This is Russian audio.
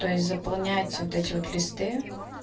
то есть заполнять вот эти вот листы